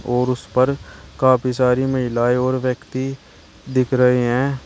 और उस पर काफी सारी महिलाएं और व्यक्ति दिख रहे है।